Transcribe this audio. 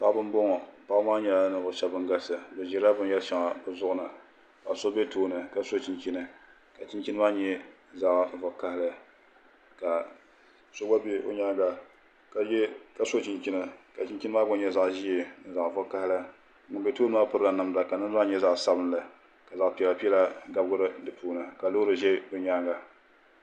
Paɣibi n bɔŋɔ paɣi maa nhɛla niŋvuɣu shɛb bangalisi bi zila bin yɛri shɛŋa bi zuɣu ni la so bɛ tooni ka so chinchini ka chinchini maa nyɛla zaɣ'vakahili ka so chinchini ka chichini maa gba nyɛ zaɣ' zee zaɣ'vakahili ŋun bɛ tooni 'maa pirirla ka namda maa ngɛ zaɣ' sabinli ka zaɣ, piɛla piɛla gabigi di puuni ka loori ʒɛ bɛ nyaanŋa